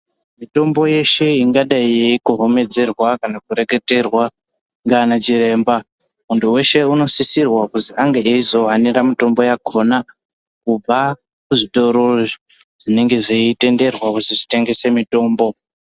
Mitombo yeshe ingadai yeikohomedzerwa kana kureketerwa ngaana chiremba muntu weshe unosisirwa kuzwi ange eizohanira mitombo yakhona kubva kuzvitoro zvinenge zveitenderwa kuzwi zvitengese mitombo.